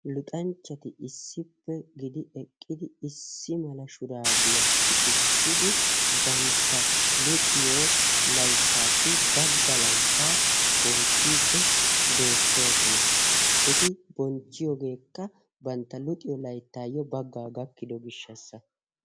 Luxanchchati issippe gidi eqqidi issi mala shurabiyaa sikisidi bantta luxiyo layttasi baggaa laytta bonchchidi beettoosona. Eti bonchchiyogekka bantta luxiyo layttayo baggaa gakkidoga gishshasa.